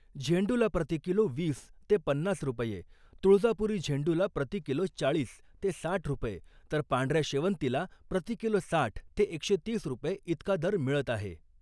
झेंडूला प्रति किलो वीस ते पन्नास रुपये , तुळजापुरी झेंडूला प्रति किलो चाळीस ते साठ रुपये तर पांढऱ्या शेवंतीला प्रति किलो साठ ते एकशे तीस रुपये इतका दर मिळत आहे .